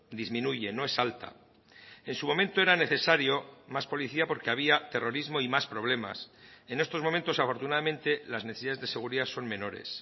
disminuye no es alta en su momento era necesario más policía porque había terrorismo y más problemas en estos momentos afortunadamente las necesidades de seguridad son menores